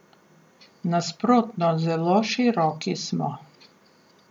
Nasprotno, zelo široki smo.